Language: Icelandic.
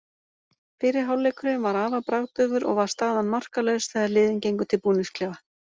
Fyrri hálfleikurinn var afar bragðdaufur og var staðan markalaus þegar liðin gengu til búningsklefa.